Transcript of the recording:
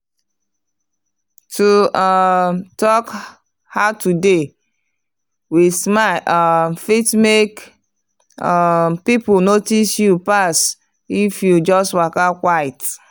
to um talk “how today?” with smile um fit make um people notice you pass if you just waka quiet.